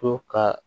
To ka